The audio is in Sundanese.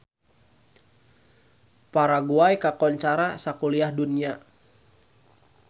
Paraguay kakoncara sakuliah dunya